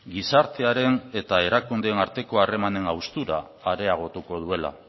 gizartearen eta erakundeen arteko harremanen haustura areagotuko duela